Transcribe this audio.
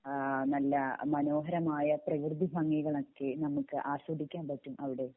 ആഹ് നല്ല മനോഹരമായ പ്രകൃതി ഭംഗികൾ ഒകെ നമുക്ക് ആസ്വദിക്കാൻ പറ്റും അവിടെ